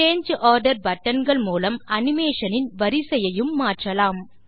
சாங்கே order button கள் மூலம் animation இன் வரிசையையும் மாற்றலாம்